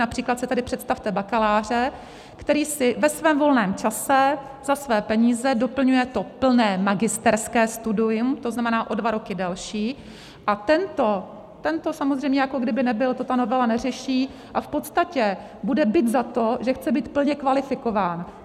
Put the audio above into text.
Například si tedy představte bakaláře, který si ve svém volném čase za své peníze doplňuje to plné magisterské studium, to znamená o dva roky delší, a tento samozřejmě jako kdyby nebyl, to ta novela neřeší, a v podstatě bude bit za to, že chce být plně kvalifikován.